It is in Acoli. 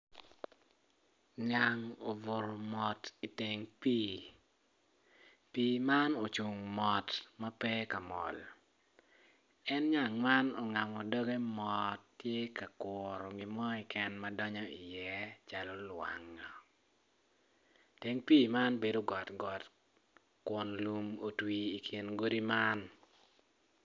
Nyang obuto mot i teng pi, pi man ocungo mot mape kamol en nyang man ongamo doge mot tye ka kuto gimo keken madonyo iye calo lwangin teng pi man bedo got got kun lum otwi ikin godi man.